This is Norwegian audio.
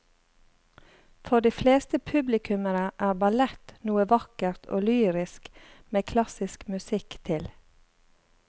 For de fleste publikummere er ballett noe vakkert og lyrisk med klassisk musikk til.